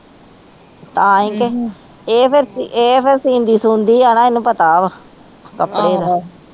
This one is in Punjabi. ਤਾਹੀ ਤੇ ਇਹ ਫੇਰ ਇਹ ਫੇਰ ਸਿਨਦੀ ਸੁਦੀ ਆ ਨਾ ਇਹਨੂੰ ਪਤਾ ਵਾ ਕੱਪੜੇ ਦਾ